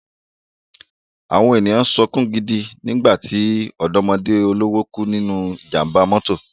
Àwọn ènìyàn sunkún gidi nígbà tí ọ̀dọ́mọdé olówó kú nínú ìjàmbá mọ́tò